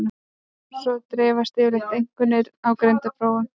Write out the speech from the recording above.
Svona dreifast yfirleitt einkunnir á greindarprófum.